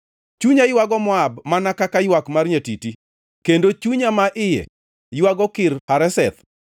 Chunya ywago Moab mana kaywak mar nyatiti, kendo chunya ma iye ywago Kir Hareseth.